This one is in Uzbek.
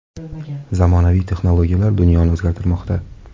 Zamonaviy texnologiyalar dunyoni o‘zgartirmoqda.